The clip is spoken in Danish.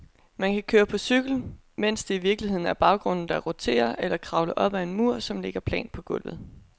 Man kan køre på cykel, mens det i virkeligheden er baggrunden, der roterer, eller kravle op ad en mur, som ligger plant på gulvet.